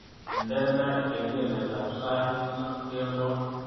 Indene kengeletab sait loo kemboi